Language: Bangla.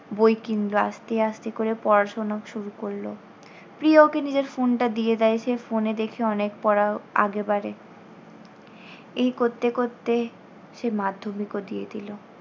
বই কিনলো আস্তে আস্তে করে পড়াশোনা শুরু করলো। প্রিয়া ওকে নিজের phone টা দিয়ে দেয় সেই phone এ দেখে অনেক পড়া আগে বাড়ে । এই করতে করতে সে মাধ্যমিকও দিয়ে দিল।